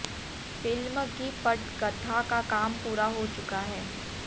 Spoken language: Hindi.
फिल्म की पटकथा का काम पूरा हो चुका है